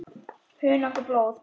Hunang og blóð